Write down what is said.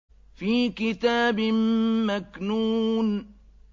فِي كِتَابٍ مَّكْنُونٍ